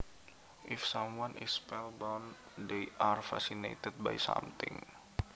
If someone is spellbound they are fascinated by something